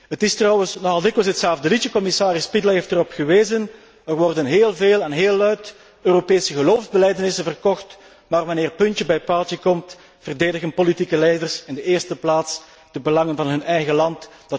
Het is trouwens nogal dikwijls hetzelfde liedje, commissaris Špidla heeft erop gewezen er worden heel veel en heel luid Europese geloofbelijdenissen verkocht, maar wanneer puntje bij paaltje komt, verdedigen politieke leiders in de eerste plaats de belangen van hun eigen land.